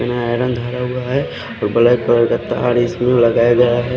धरा हुआ है और ब्लैक कलर का तार इसमें लगाया गया है।